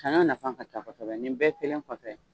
Ka na nafan ka taa kosɛbɛ nin bɛɛ kelen kɔfɛ